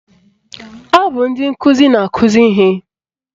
Ọ bụ ndị nkụzi na-akụzi ihe